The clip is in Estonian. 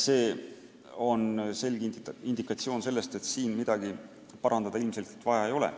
See on selge indikatsioon sellest, et siin midagi parandada ilmselt vaja ei ole.